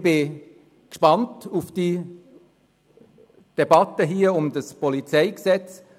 Ich bin gespannt auf die Debatte um das PolG.